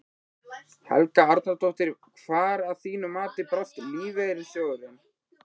Helga Arnardóttir: Hvar að þínu mati brást lífeyrissjóðurinn?